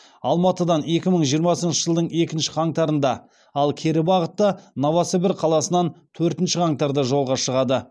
алматыдан екі мың жиырмасыншы жылдың екінші қаңтарында ал кері бағытта новосібір қаласынан төртінші қаңтарда жолға шығады